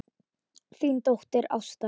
Þín dóttir Ásta.